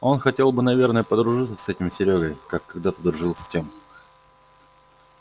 он хотел бы наверное подружиться с этим серёгой как когдато дружил с тем